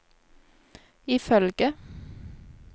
ifølge